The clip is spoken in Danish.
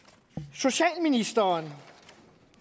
socialministeren